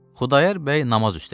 Xudayar bəy namaz üstə idi.